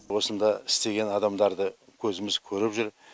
осында істеген адамдарды көзіміз көріп жүр